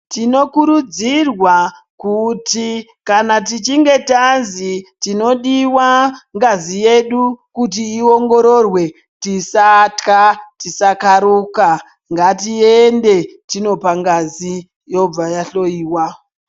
Tinokurudzirwa kuti kana tichinge tazi tinodiwa ngazi yedu kuti iongororwe tisatyla tisakaruka ngatiende tindopa ngazi yobva yahloiwa.